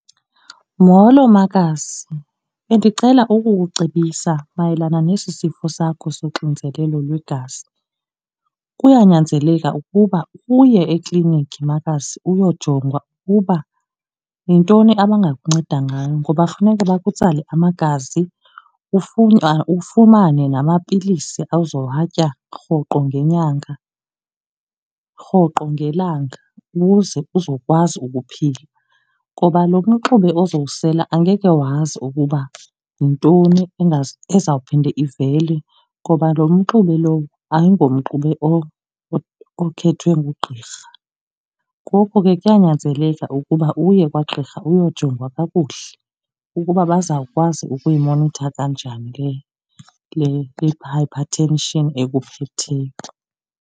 Molo makazi, bendicela ukukucebisa mayelana nesi sifo sakho soxinzelelo lwegazi. Kuyanyanzeleka ukuba uye ekliniki makazi uyojonga ukuba yintoni abangakunceda ngayo ngoba funeka bakutsale amagazi, ufumane namapilisi ozowatya rhoqo ngenyanga, rhoqo ngelanga ukuze uzokwazi ukuphila. Ngoba lo mxube ozowusela angeke wazi ukuba yintoni ezawuphinda ivele ngoba lo mxube lowo ayingomxube okhethwe ngugqirha. Ngoko ke kuyanyanzeleka ukuba uye kwagqirha uyojongwa kakuhle ukuba bazawukwazi ukuyimonitha kanjani le-hypertension ekuphetheyo.